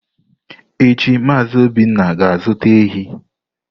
Echi Mazị Obinna ga-azụta ehi.